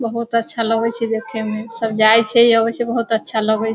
बहोत अच्छा लगै छ देखेमें सब जाई छे आवै छे बहोत अच्छा लगै --